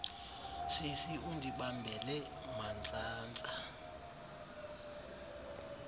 sisi undibambele mantsantsa